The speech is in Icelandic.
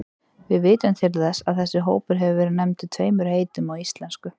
Við vitum til þess að þessi hópur hafi verið nefndur tveimur heitum á íslensku.